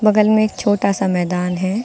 बगल में एक छोटा सा मैदान है।